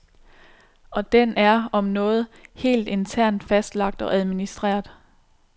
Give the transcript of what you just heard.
Og den er, om noget, helt internt fastlagt og administreret.